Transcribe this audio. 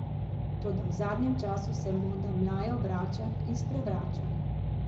Toda v zadnjem času se moda mlajev vrača in sprevrača.